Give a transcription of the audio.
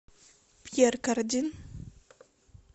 пьер кардин